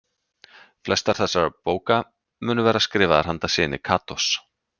Flestar þessara bóka munu vera skrifaðar handa syni Katós.